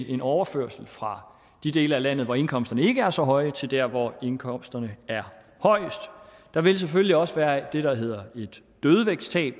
en overførsel fra de dele af landet hvor indkomsterne ikke er så høje til dér hvor indkomsterne er højest der vil selvfølgelig også være det der hedder et dødvægtstab